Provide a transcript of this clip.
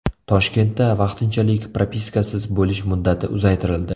Toshkentda vaqtinchalik propiskasiz bo‘lish muddati uzaytirildi.